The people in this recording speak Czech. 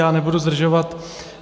Já nebudu zdržovat.